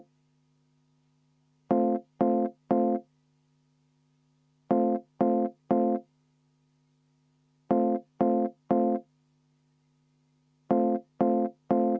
Juhataja vaheaeg on lõppenud.